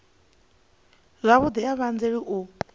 zwavhudi a vha anzeli u